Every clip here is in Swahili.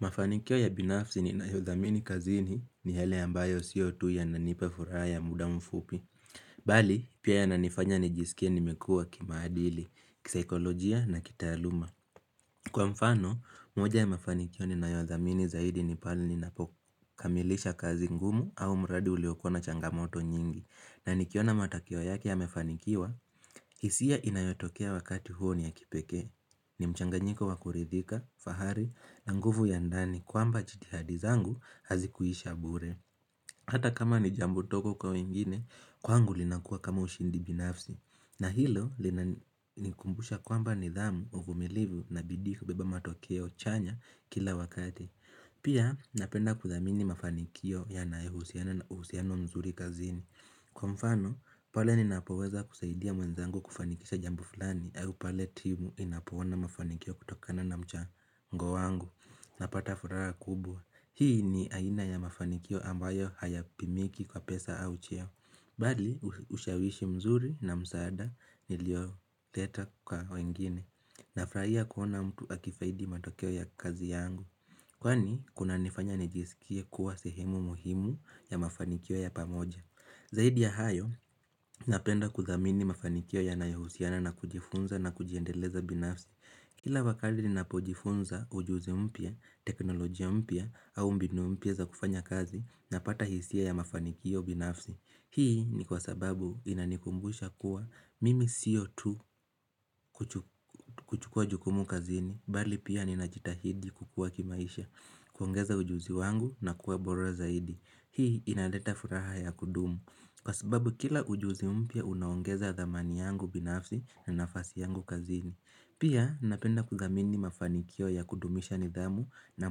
Mafanikio ya binafsi ninayo dhamini kazini ni yale ambayo sio tu yananipa furaha ya muda mfupi. Bali, pia yananifanya nijisikie nimekua kimaadili, kisaikolojia na kitaaluma. Kwa mfano, moja ya mafanikio ni na yodhamini zaidi ni pahali ni napokamilisha kazi ngumu au mradi uliokua na changamoto nyingi. Na nikiona matakio yake ya mefanikiwa, hisia inayotokea wakati huo ni ya kipeke. Ni mchanganyiko wakuridhika, fahari, na nguvu ya ndani kwamba jitihadi zangu hazikuisha bure Hata kama ni jambo ndogo kwa wengine, kwangu linakuwa kama ushindi binafsi na hilo linanikumbusha kwamba nidhamu, uvumilivu na bidii hubeba matokeo chanya kila wakati Pia napenda kudhamini mafanikio yanayohusiana na uhusiana mzuri kazini Kwa mfano, pale ninapoweza kusaidia mwenzangu kufanikisha jambu fulani Ayu pale timu inapoona mafanikio kutokana na mcha mgo wangu Napata furaha kubwa, Hii ni aina ya mafanikio ambayo hayapimiki kwa pesa au cheo Bali, ushawishi mzuri na msaada nilioleta kwa wengine Nafurahia kuona mtu akifaidi matokeo ya kazi yangu Kwani, kuna nifanya nijisikie kuwa sehemu muhimu ya mafanikio ya pamoja Zaidi ya hayo napenda kudhamini mafanikio yanayohusiana na kujifunza na kujiendeleza binafsi. Kila wakati ninapojifunza ujuzi mpya, teknolojia mpya au mbinu mpya za kufanya kazi napata hisia ya mafanikio binafsi. Hii ni kwa sababu inanikumbusha kuwa mimi sio tu kuchukua jukumu kazini, bali pia ninajitahidi kukua kimaisha, kuongeza ujuzi wangu na kuwa bora zaidi. Hii inaleta furaha ya kudumu, kwa sababu kila ujuzi mpya unaongeza dhamani yangu binafsi na nafasi yangu kazini. Pia napenda kudhamini mafanikio ya kudumisha nidhamu na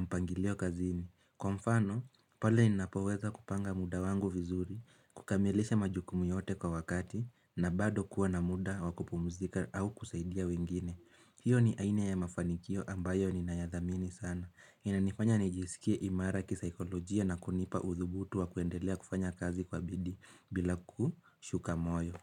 mpangilio kazini. Kwa mfano, pale ninapoweza kupanga muda wangu vizuri, kukamilisha majukumu yote kwa wakati, na bado kuwa na muda wakupumzika au kusaidia wengine hiyo ni aina ya mafanikio ambayo ninayadhamini sana inanifanya nijisikie imara kisaikolojia na kunipa uthubutu wa kuendelea kufanya kazi kwa bidii bila kushuka moyo.